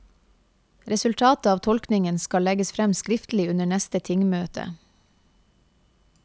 Resultatet av tolkningen skal legges frem skriftlig under neste tingmøte.